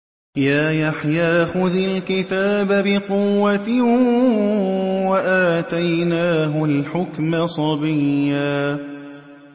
يَا يَحْيَىٰ خُذِ الْكِتَابَ بِقُوَّةٍ ۖ وَآتَيْنَاهُ الْحُكْمَ صَبِيًّا